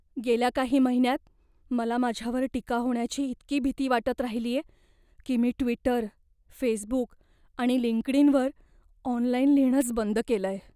गेल्या काही महिन्यांत मला माझ्यावर टीका होण्याची इतकी भीती वाटत राहिलीये, की मी ट्विटर, फेसबुक आणि लिंक्डइनवर ऑनलाइन लिहिणंच बंद केलंय.